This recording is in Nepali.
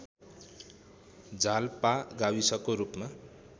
जालपा गाविसको रूपमा